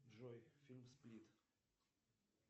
джой фильм сплит